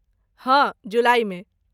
हँ जुलाइमे।